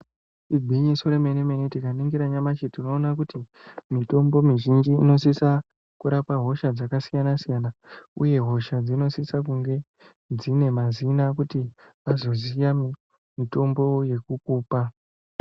Igwinyiso remene tikaningira nyamashi tinoone kuti mitombo mizhinji inosisa kurapa hosha dzakasiyana siyana uye hoshadzinosisa kunge dzine mazina kuti vazoziya mutombo wokukupa.